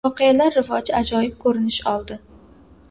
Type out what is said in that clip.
Voqealar rivoji ajoyib ko‘rinish oldi.